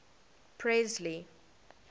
presley